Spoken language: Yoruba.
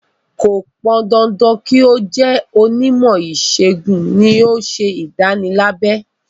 Kò pọn dandan kí ó jẹ́ onímọ̀ ìṣègùn ni yóò ṣe ìdánilábẹ.